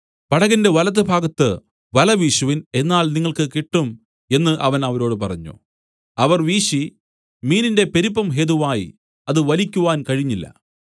പടകിന്റെ വലത്തുഭാഗത്ത് വല വീശുവിൻ എന്നാൽ നിങ്ങൾക്ക് കിട്ടും എന്നു അവൻ അവരോട് പറഞ്ഞു അവർ വീശി മീനിന്റെ പെരുപ്പം ഹേതുവായി അത് വലിക്കുവാൻ കഴിഞ്ഞില്ല